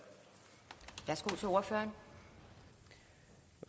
kvoter